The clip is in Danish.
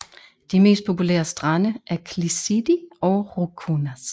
De mest populære strande er Klisidi og Roukounas